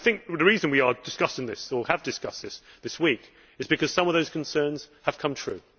The reason we are discussing this, or have discussed it this week, is because some of those concerns have come true.